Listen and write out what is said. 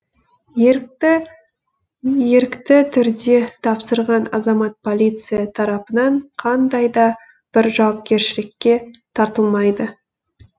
ерікті түрде тапсырған азамат полиция тарапынан қандай да бір жауапкершілікке тартылмайды